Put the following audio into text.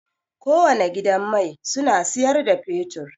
Kowane gidan mai suna siyar da fetur.